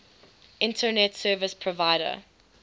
internet service provider